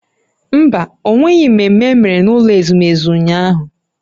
Mba, ọ nweghị mmemme emere n'ụlọ ezumezu ụnyahụ